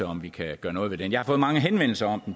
om vi kan gøre noget ved den jeg har fået mange henvendelser om